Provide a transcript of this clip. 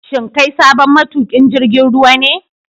Shin kai sabon matukin jirgin ruwa ne?